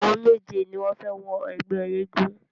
Àwọn méje ni wọ́n fẹ wọ ẹgbẹ́ eégún.